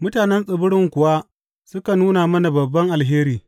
Mutanen tsibirin kuwa suka nuna mana babban alheri.